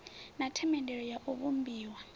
na themendelo ya u vhumbiwa